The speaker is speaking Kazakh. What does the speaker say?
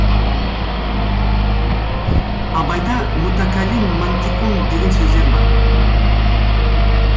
абайда мутакалим мантикун деген сөздер бар